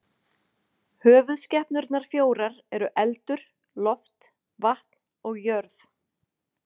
Höfuðskepnurnar fjórar eru eldur, loft, vatn og jörð.